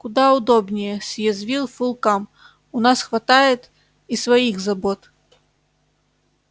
куда удобнее съязвил фулкам у нас хватает и своих забот